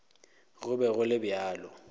go be go le bjalo